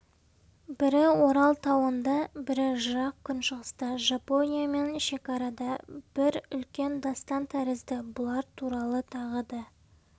бірі орал тауында бірі жырақ күншығыста жапониямен шекарада бір үлкен дастан тәрізді бұлар туралы тағы да